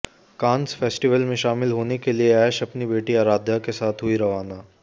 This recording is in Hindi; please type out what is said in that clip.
कांस फेस्टिवल में शामिल होने के लिए ऐश अपनी बेटी आराध्या के साथ हुई रवाना